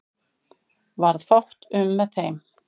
Varð fátt um með þeim